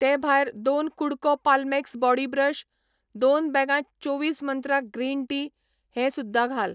ते भायर दोन कु़डको पाल्मेक्स बॉडी ब्रश, दोन बॅगां चोवीस मंत्रा ग्रीन टी हें सुद्दा घाल.